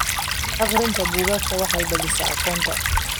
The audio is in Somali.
Akhrinta buugaagta waxay balaadhisaa aqoonta.